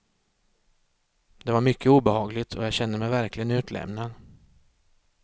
Det var mycket obehagligt och jag kände mig verkligen utlämnad.